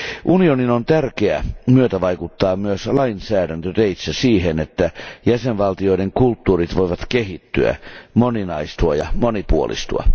Unionin on tärkeä myötävaikuttaa myös lainsäädäntöteitse siihen, että jäsenvaltioiden kulttuurit voivat kehittyä, moninaistua ja monipuolistua.